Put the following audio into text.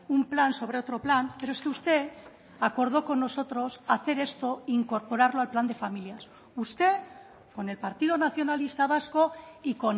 un plan sobre otro plan pero es que usted acordó con nosotros hacer esto incorporarlo al plan de familias usted con el partido nacionalista vasco y